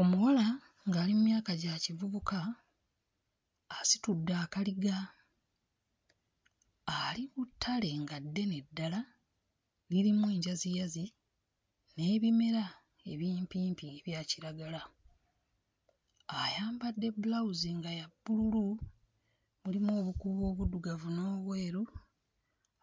Omuwala ng'ali mmyaka gya kivubuka asitudde akaliga ali ku ttale nga ddene ddala lirimu enjaziyazi n'ebimera ebimpimpi ebya kiragala ayambadde bbulawuzi nga ya bbululu mulimu obukuubo obuddugavu n'obweru